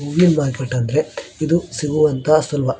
ಹೂವಿನ ಮಾರ್ಕೆಟ್ ಅಂದ್ರೆ ಇದು ಸಿಗುವಂತ ಸ್ಥಳ.